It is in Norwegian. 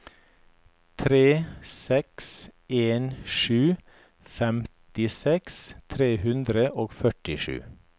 tre seks en sju femtiseks tre hundre og førtisju